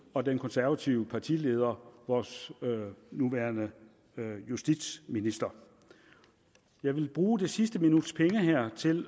og den konservative partileder vores nuværende justitsminister jeg vil bruge det sidste minuts penge her til